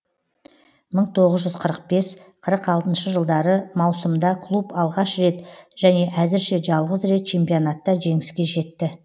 мың тоғыз жүз қырық бес қырық алтыншы жылдары маусымда клуб алғаш рет және әзірше жалғыз рет чемпионатта жеңіске жетті